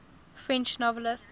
french novelists